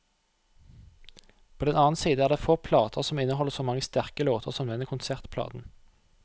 På den annen side er det få plater som inneholder så mange sterke låter som denne konsertplaten.